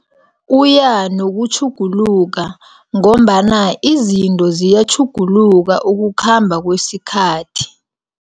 Uyanokutjhuguluka, ngombana izinto ziyatjhuguluka ukukhamba kwesikhathi.